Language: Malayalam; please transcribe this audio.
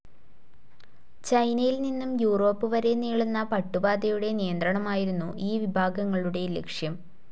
ചൈനയിൽ നിന്നും യുറോപ്പ് വരെ നീളുന്ന പട്ടുപാതയുടെ നിയന്ത്രണമായിരുന്നു ഈ വിഭാഗങ്ങളുടെ ലക്ഷ്യം.